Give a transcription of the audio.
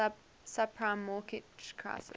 subprime mortgage crisis